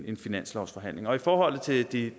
en finanslovsforhandling i forhold til de